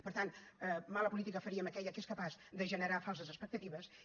per tant mala política faríem aquella que és capaç de generar falses expectatives i